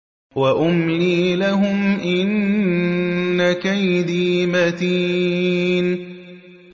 وَأُمْلِي لَهُمْ ۚ إِنَّ كَيْدِي مَتِينٌ